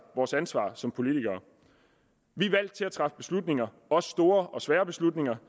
vores ansvar som politikere vi er valgt til at træffe beslutninger også store og svære beslutninger